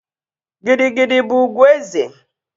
Gidi gidi bụ ugwu eze